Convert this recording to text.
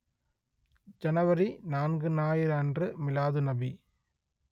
ஜனவரி நான்கு ஞாயிறு அன்று மீலாதுநபி